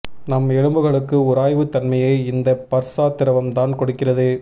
நம் எலும்புகளுக்கு உராய்வுத் தன்மையை இந்த பர்சா திரவம்தான் கொடுக்கிறது